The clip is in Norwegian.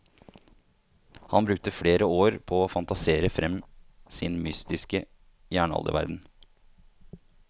Han brukte flere år på å fantasere frem sin mytiske jernalderverden.